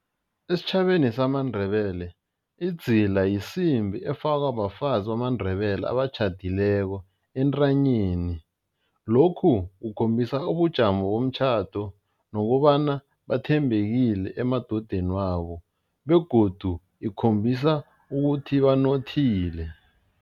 Esitjhabeni samaNdebele idzila yisimbi efakwa bafazi bamaNdebele abatjhadileko entanyeni, lokhu kukhombisa ubujamo bomtjhado nokobana bathembekile emadodaneni wabo begodu ikhombisa ukuthi banothile.